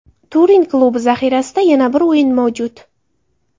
Turin klubi zaxirasida yana bir o‘yin mavjud.